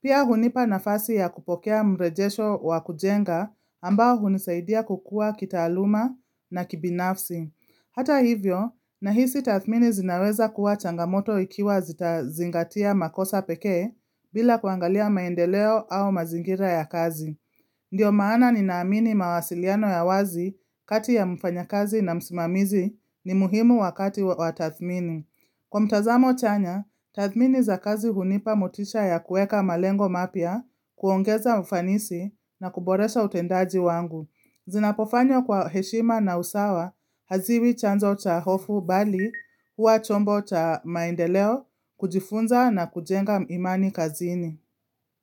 Pia hunipa nafasi ya kupokea mrejesho wa kujenga ambao hunisaidia kukua kitaaluma na kibinafsi. Hata hivyo, nahisi tathmini zinaweza kuwa changamoto ikiwa zita zingatia makosa peke bila kuangalia maendeleo au mazingira ya kazi. Ndio maana ni naamini mawasiliano ya wazi kati ya mfanya kazi na msimamizi ni muhimu wakati wa tathmini. Kwa mtazamo chanya, tathmini za kazi hunipa motisha ya kueka malengo mapya, kuongeza ufanisi na kuboresha utendaji wangu. Zinapofanywa kwa heshima na usawa, haziwi chanzo cha hofu bali huwa chombo cha maendeleo, kujifunza na kujenga imani kazini.